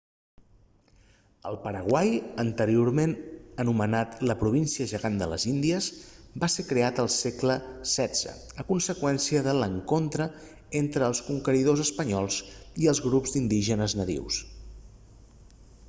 el paraguai anteriorment anomenat la província gegant de les índies va ser creat al segle xvi a conseqüència de l'encontre entre els conqueridors espanyols i els grups d'indígenes natius